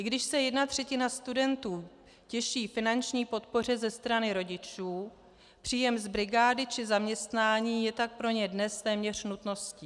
I když se jedna třetina studentů těší finanční podpoře ze strany rodičů, příjem z brigády či zaměstnání je tak pro ně dnes téměř nutností.